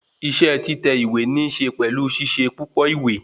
Isẹ́ títẹ̀ ìwé níse pẹ̀lú ṣíṣe púpọ ìwé